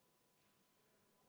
Palun võtta seisukoht ja hääletada!